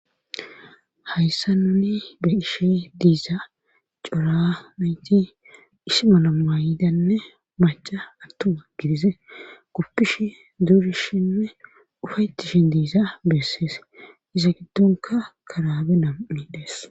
hayssa nuni be'ishi diiza cora nayti isi mala mayidanne maca attuma gidid guppish duurishinne ufaytishin diiza bessees iza giddonka karaabe nam'i dees